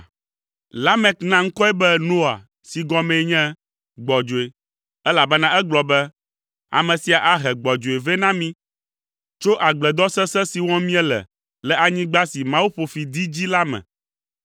Lamek na ŋkɔe be Noa si gɔmee nye “Gbɔdzɔe,” elabena egblɔ be, “Ame sia ahe gbɔdzɔe vɛ na mí tso agbledɔ sesẽ si wɔm míele le anyigba si Mawu ƒo fi dee dzi la me.”